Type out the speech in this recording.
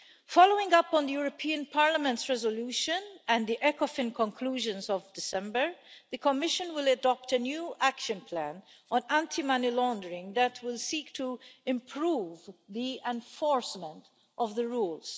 Following up on the European Parliament's resolution and the Ecofin conclusions of December, the Commission will adopt a new action plan on anti money laundering that will seek to improve the enforcement of the rules.